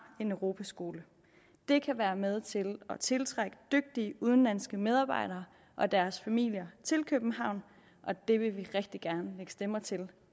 en europaskole det kan være med til at tiltrække dygtige udenlandske medarbejdere og deres familier til københavn og det vil vi rigtig gerne lægge stemmer til